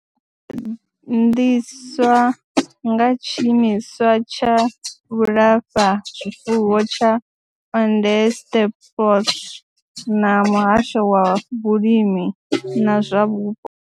gandiswa nga Tshiimiswa tsha Vhulafha zwifuwo tsha Onderstepoort na Muhasho wa Vhulimi na zwa Vhupo.